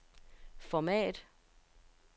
format